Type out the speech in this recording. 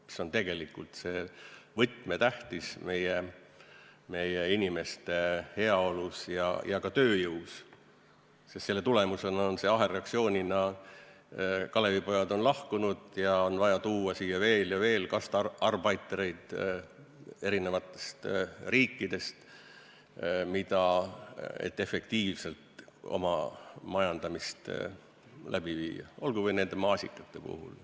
See on tegelikult võtmetähtsusega meie inimeste heaolu ja ka tööjõu mõttes, sest selle tõttu on ahelreaktsioonina Kalevipojad lahkunud ja on vaja tuua siia veel ja veel Gastarbeiter'eid eri riikidest, et efektiivselt oma majandamist läbi viia, olgu või nende maasikate puhul.